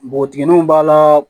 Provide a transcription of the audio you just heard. Npogotigininw b'a la